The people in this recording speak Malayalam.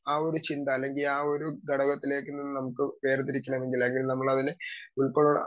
സ്പീക്കർ 2 ആ ഒരു ചിന്ത അല്ലെങ്കി ആ ഒരു ഘടകത്തിലേക്ക് നമുക്ക് വേർതിരിക്കണമെങ്കിൽ അല്ലെങ്കി നമ്മളതിനെ ഉൾക്കൊള്ളാൻ